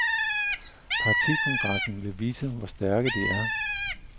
Partikongressen vil vise, hvor stærke de er.